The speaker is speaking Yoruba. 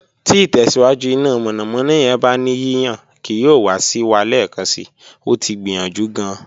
Ti itẹsiwaju ina mọnamọna yẹn ba ni yiyan kii yoo wa si wa lẹẹkansi, o ti gbiyanju gaan